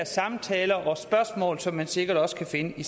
samtaler og spørgsmål som man sikkert også kan finde i